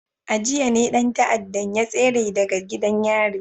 A jiya ne dan ta'addan ya tsere daga gidan yari